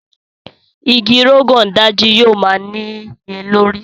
Ìgi Rogon Daji yóò má niyelori.